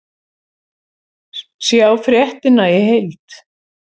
Sjá fréttina í heild